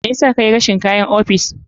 Me yasa kayi rashin kayan ofis?